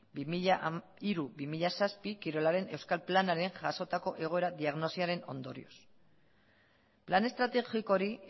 bi mila hiru bi mila zazpi kirolaren euskal planean jasotako egoera diagnosiaren ondorioz plan estrategiko hori